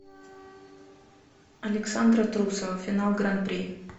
александра трусова финал гран при